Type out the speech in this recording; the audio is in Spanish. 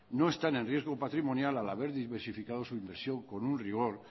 no están riesgo patrimonial al haber diversificado su inversión con un rigor